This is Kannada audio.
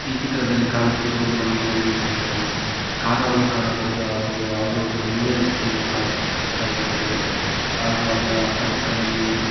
ಈ ಚಿತ್ರದ್ಲಲಿ ಕಾಣುತ್ತಿರುವುದು ನಮಗೆ ಒಂದು ಕಾರ್ ಅನ್ನು ಕಾಣಬಹುದು ಹಾಗು ಯಾವುದೊ ಒಂದು ಹೈವೇ ರಸ್ತೆಯನ್ನು ಕಾಣಿಸ್ತಾ ಇದೆ ಇದ್ರಲ್ಲಿ ಹಾಗು ಅದ್ರ ಅಕ್ಕ ಪಕ್ಕದಲ್ಲಿ--